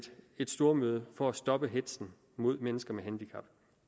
et stormøde for at stoppe hetzen mod mennesker med handicap